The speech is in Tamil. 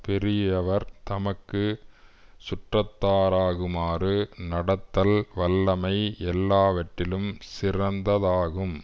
பெரியவர் தமக்கு சுற்றத்தராகுமாறு நடத்தல் வல்லமை எல்லாவற்றிலும் சிறந்ததாகும்